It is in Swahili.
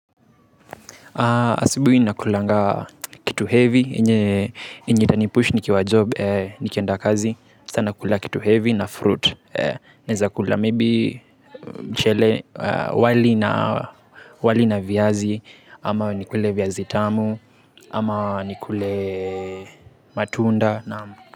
Asubui nakulanga kitu heavy yenye yenye itanipush nikiwa job nikienda kazi sana kula kitu heavy na fruit naeza kula maybe mchele wali na wali na viazi ama nikule viazi tamu ama nikule matunda naam.